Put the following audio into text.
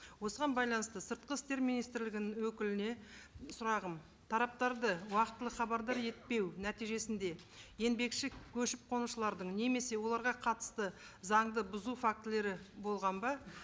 осыған байланысты сыртқы істер министрлігінің өкіліне сұрағым тараптарды уақытылы хабардар етпеу нәтижесінде еңбекші көшіп қонушылардың немесе оларға қатысты заңды бұзу фактілері болған ба